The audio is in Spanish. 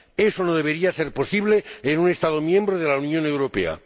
Eso no debería ser posible en un Estado miembro de la Unión Europea.